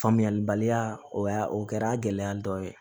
Faamuyalibaliya o y'a o kɛra gɛlɛya dɔ ye